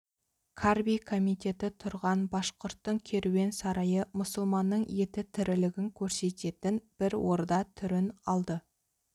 қарби комитеті тұрған башқұрттың керуен сарайы мұсылманның еті тірілігін көрсететін бір орда түрін алды